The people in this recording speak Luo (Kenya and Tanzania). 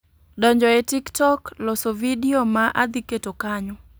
Donjo e tiktok, loso vidio ma adhi keto kanyo.